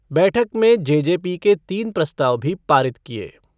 बैठक में जेजेपी के तीन प्रस्ताव भी पारित किए गए।